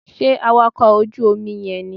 Sé awakọ̀ ojú Omi yen nì